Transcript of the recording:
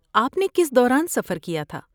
آپ نے کس دوران سفر کیا تھا؟